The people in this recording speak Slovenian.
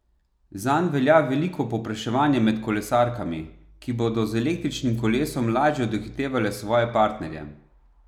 Zanj velja veliko povpraševanje med kolesarkami, ki bodo z električnim kolesom lažje dohitevale svoje partnerje.